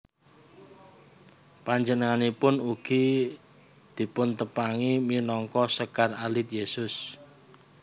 Panjenenganipun ugi dipuntepangi minangka Sekar Alit Yesus